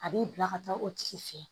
A b'i bila ka taa o tigi fɛ